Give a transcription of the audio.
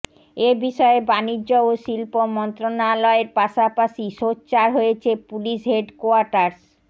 এ বিষয়ে বাণিজ্য ও শিল্প মন্ত্রণালয়ের পাশাপাশি সোচ্চার হয়েছে পুলিশ হেডকোয়ার্টার্স